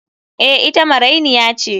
Eh, ita marainiya ce.